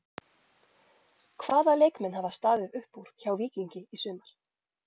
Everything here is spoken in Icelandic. Hvaða leikmenn hafa staðið upp úr hjá Víkingi í sumar?